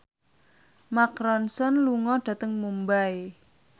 Mark Ronson lunga dhateng Mumbai